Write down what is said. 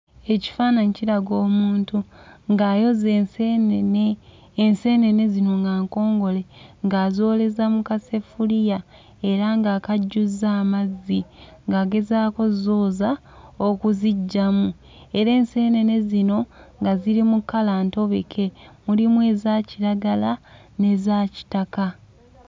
Ekifaananyi kiraga omuntu ng'ayoza enseenene, enseenene zino nga nkongole ng'azooleza mu kaseffuliya era nga akajjuzza amazzi ng'agezaako ozzooza okuziggyamu era enseenene zino nga ziri mu kkala ntobeke mulimu eza kiragala n'eza kitaka.